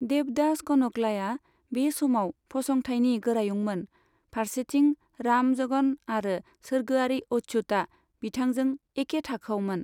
देबदास कनकलाया बे समाव फसंथाइनि गोरायुंमोन, फारसेथिं रामजगन आरो सोरगोआरि अच्युतआ बिथांजों एके थाखोआवमोन।